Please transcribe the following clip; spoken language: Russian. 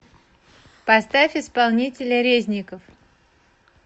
поставь исполнителя резников